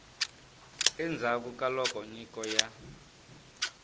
endzhaku ka loko nyiko ya